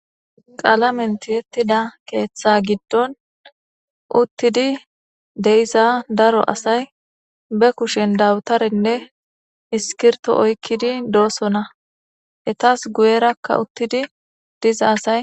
Qaalamenti hettida keeththa giddon uttidi deiza daro asay be kushen dawutarinne iskirto oykkidi doosona etas guyerakka uttidi diza asay.